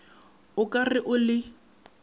o ka re o le